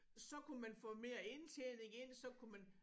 Så kunne man få mere indtjening ind så kunne man